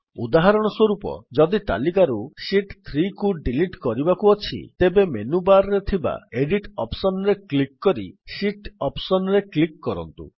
ଉଦାହରଣସ୍ୱରୂପ ଯଦି ତାଲିକାରୁ ଶୀତ୍ 3କୁ ଡିଲିଟ୍ କରିବାକୁ ଅଛି ତେବେ ମେନୁ ବାର୍ ରେ ଥିବା ଏଡିଟ୍ ଅପ୍ସନ୍ ରେ କ୍ଲିକ୍ କରି ଶୀତ୍ ଅପ୍ସନ୍ ରେ କ୍ଲିକ୍ କରନ୍ତୁ